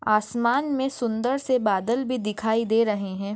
आसमान मे सुंदर से बादल भी दिखाई दे रहे है।